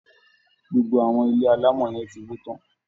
GBogbo àwọn ilé alámọ yẹn ti wó tán